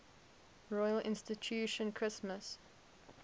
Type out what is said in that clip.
royal institution christmas